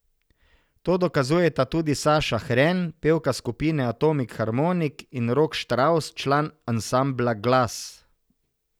To dokazujeta tudi Saša Hren, pevka skupine Atomik Harmonik, in Rok Štravs, član ansambla Glas.